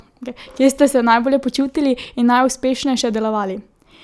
Kje ste se najbolje počutili in najuspešneje delovali?